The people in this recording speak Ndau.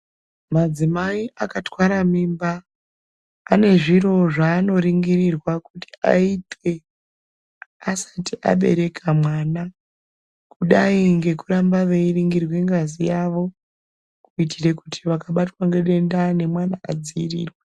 Madzimai akatwara mimba ane zviro zvaanoringirwa kuti vaitwe asati abereka mwana kudai ngekuningira ngazi yavo kuitire kuti vakabatwa ngedenda nemwana adziirirwe.